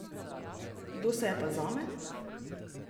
Kdo se je pa zame?